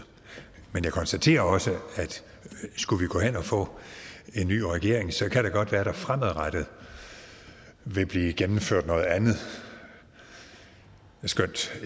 men jeg konstaterer også at skulle vi gå hen og få en ny regering kan det godt være at der fremadrettet vil blive gennemført noget andet skønt